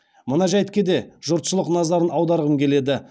мына жәйтке де жұртшылық назарын аударғым келеді